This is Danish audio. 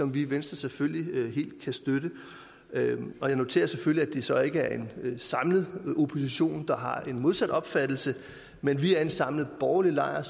vi i venstre selvfølgelig helt kan støtte og jeg noterer selvfølgelig det så ikke er en samlet opposition der har den modsatte opfattelse men vi er en samlet borgerlig lejr